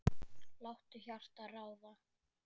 Láttu hjartað ráða.